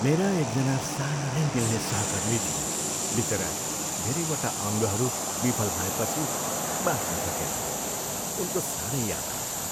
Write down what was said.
मेरा एकजना साह्रै मिल्ने सहकर्मी थिए, बिचरा धेरैवटा अङ्गहरू विफल भएपछि बाँच्न सकेनन्। उनको साह्रै याद आउँछ।